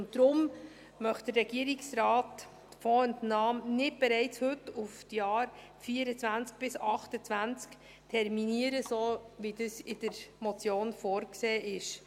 Deshalb möchte der Regierungsrat die Fondsentnahme nicht bereits heute auf die Jahre 2024 bis 2028 terminieren, so wie das in der Motion vorgesehen ist.